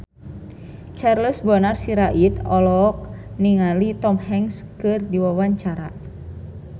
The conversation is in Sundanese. Charles Bonar Sirait olohok ningali Tom Hanks keur diwawancara